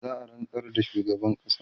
za'a rantsar da shugaban ƙasa